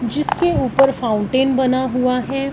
जिसके ऊपर फाउंटेन बना हुआ हैं।